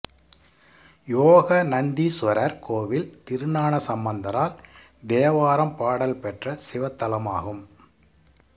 யோகநந்தீசுவரர் கோயில் திருஞான சம்பந்தரால் தேவாரம் பாடல் பெற்ற சிவத்தலமாகும்